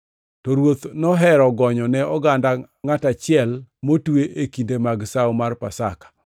To ruoth nohero gonyo ne oganda ngʼat achiel motwe e kinde mag sawo mar Pasaka.